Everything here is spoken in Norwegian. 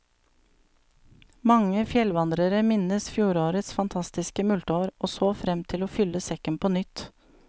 Mange fjellvandrere minnes fjorårets fantastiske multeår, og så frem til å fylle sekken på nytt.